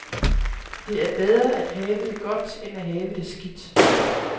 Det er bedre at have det godt end at have det skidt.